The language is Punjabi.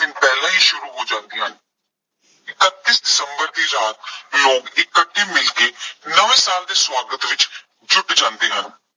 ਪਹਿਲਾਂ ਹੀ ਸ਼ੁਰੂ ਹੋ ਜਾਂਦੀਆਂ ਹਨ। ਇਕੱੱਤੀ ਦਸੰਬਰ ਦੀ ਰਾਤ ਲੋਕ ਇਕੱਠੇ ਮਿਲਕੇ ਨਵੇਂ ਸਾਲ ਦੇ ਸਵਾਗਤ ਵਿੱਚ ਜੁੱਟ ਜਾਂਦੇ ਹਨ।